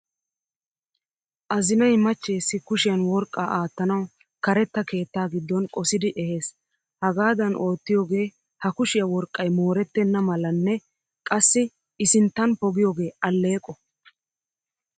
Azinay machcheessi kushiyan worqqaa aattanawu karetta keettaa giddon qosidi ehes. Hagaadan oottiyoogee ha kushiya worqqay moorettena malanne qassi i sinttan pogiyoogee alleeqo.